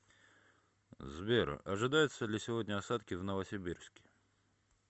сбер ожидаются ли сегодня осадки в новосибирске